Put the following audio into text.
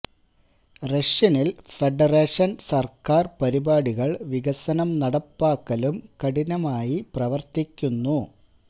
Russian ൽ federation സർക്കാർ പരിപാടികൾ വികസനം നടപ്പാക്കലും കഠിനമായി പ്രവർത്തിക്കുന്നു